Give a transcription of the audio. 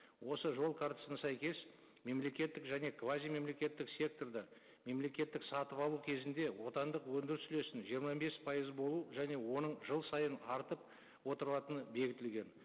осы жол картасына сәйкес мемлекеттік және квазимемлекеттік секторда мемлекеттік сатып алу кезінде отандық өндіріс үлесін жиырма бес пайыз болу және оның жыл сайын артып отырылатыны бекітілген